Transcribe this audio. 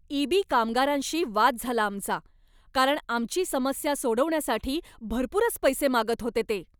EB. कामगारांशी वाद झाला आमचा, कारण आमची समस्या सोडवण्यासाठी भरपूरच पैसे मागत होते ते.